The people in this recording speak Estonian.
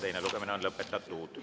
Teine lugemine on lõpetatud.